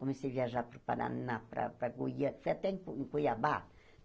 Comecei a viajar para o Paraná, para para Goiâ... fui até Cuiabá.